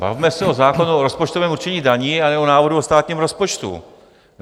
Bavíme se o zákonu o rozpočtovém určení daní a ne o návrhu o státním rozpočtu.